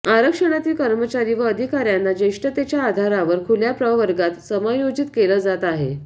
आरक्षणातील कर्मचारी व अधिकाऱ्यांना ज्येष्ठतेच्या आधारावर खुल्या प्रवर्गात समायोजित केल जात आहे